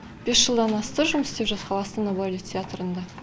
бес жылдан асты жұмыс істеп жатқалы астана балет театрында